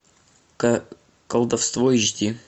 колдовство эйч ди